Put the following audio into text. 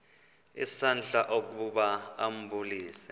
isandla ukuba ambulise